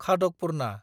खादकपुरना